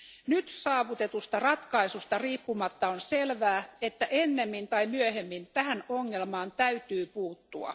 Nyt saavutetusta ratkaisusta riippumatta on selvää, että ennemmin tai myöhemmin tähän ongelmaan täytyy puuttua.